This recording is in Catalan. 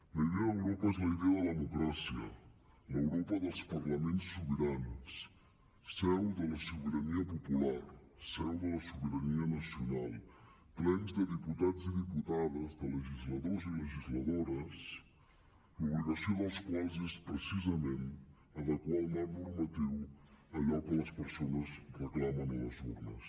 la idea d’europa és la idea de la democràcia l’europa dels parlaments sobirans seu de la sobirania popular seu de la sobirania nacional plens de diputats i diputades de legisladors i legisladores l’obligació dels quals és precisament adequar el marc normatiu a allò que les persones reclamen a les urnes